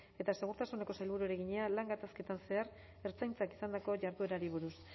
eta segurtasuneko sailburuari egina lan gatazketan zehar ertzaintzak izandako jarduerari buruz